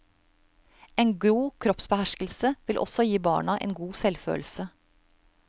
En god kroppsbeherskelse vil også gi barna en god selvfølelse.